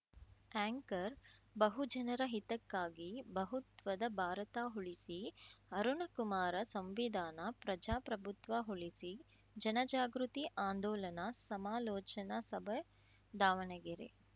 anchor ಬಹುಜನರ ಹಿತಕ್ಕಾಗಿ ಬಹುತ್ವದ ಭಾರತ ಉಳಿಸಿ ಅರುಣಕುಮಾರ ಸಂವಿಧಾನ ಪ್ರಜಾಪ್ರಭುತ್ವ ಉಳಿಸಿ ಜನ ಜಾಗೃತಿ ಆಂದೋಲನ ಸಮಾಲೋಚನಾ ಸಭೆ ದಾವಣಗೆರೆ